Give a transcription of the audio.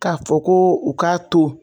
K'a fɔ ko u k'a to